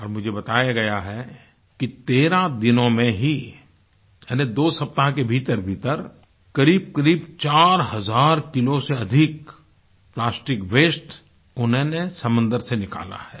और मुझे बताया गया है कि 13 दिनों में ही यानी 2 सप्ताह के भीतरभीतर करीबकरीब 4000 किलो से अधिक प्लास्टिक वास्ते उन्होंने समुद्र से निकाला है